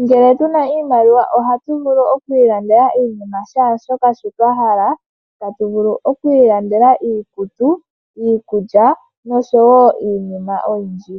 Ngele tuna iimaliwa ohatu vulu oku ilandela iinima sha shoka shi twa hala tu vulu oku ilandela iikutu, iikulya noshowo iinima oyindji.